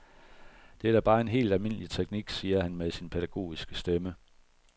Det er da bare en helt almindelig teknik, siger han med sin pædagogiske stemme.